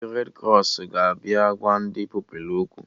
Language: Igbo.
Ndị red krọs ga-abịa gwa ndị Pupilụ okwu